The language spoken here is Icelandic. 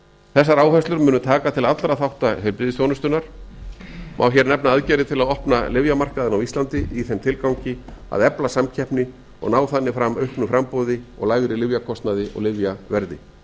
þessar áherslur munu taka til allra bætta heilbrigðisþjónustunnar má hér nefna aðgerðir til að opna lyfjamarkaðinn á íslandi í þeim tilgangi að efla samkeppni og ná þannig fram auknu framboði og lægri lyfjakostnaði og lyfjaverði í